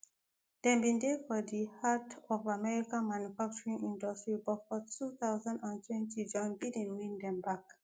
dem bin dey for di heart of american manufacturing industry but for two thousand and twenty joe biden win dem back